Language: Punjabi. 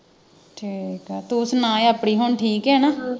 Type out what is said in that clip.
ਠੀਕ ਆ ਤੂੰ ਸੁਣਾ ਆਪਣੀ ਹੁਣ ਠੀਕ ਐ ਨਾ